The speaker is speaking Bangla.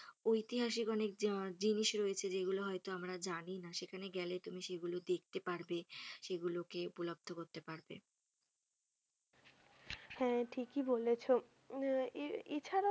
ঐতিহাসিক অনেক আহ জিনিস রয়েছে যেগুলো হয়তো আমরা জানি না, সেখানে গেলে তুমি সেগুলো দেখতে পারবে সেগুলোকে উপলব্ধ করতে পারবে হ্যা ঠিকই বলেছ উম আহ এছাড়াও,